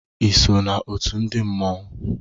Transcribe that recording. Ịso na ọtu ndi mmanwu?